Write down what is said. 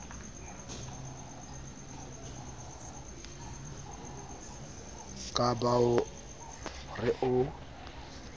ka ba o re o